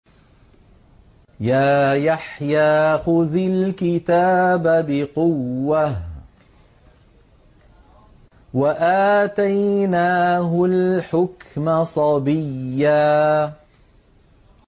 يَا يَحْيَىٰ خُذِ الْكِتَابَ بِقُوَّةٍ ۖ وَآتَيْنَاهُ الْحُكْمَ صَبِيًّا